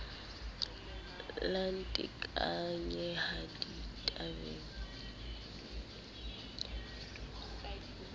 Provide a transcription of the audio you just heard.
la nteka la nkenya ditabeng